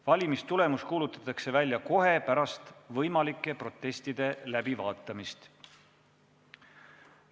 Valimistulemus kuulutatakse välja kohe pärast võimalike protestide läbivaatamist.